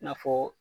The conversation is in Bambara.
I n'a fɔ